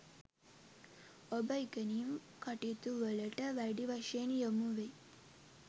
ඔබ ඉගෙනීම් කටයුතුවලට වැඩි වශයෙන් යොමු වෙයි